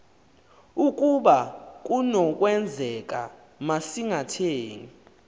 ukaba kunokwenzeka masingathengi